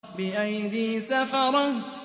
بِأَيْدِي سَفَرَةٍ